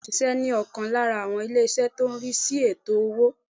Bẹ́ẹ̀ni mò n ṣíṣẹ́ ní ọ̀kan lára àwọn ilé ìṣẹ́ tó n rí sí ètò owó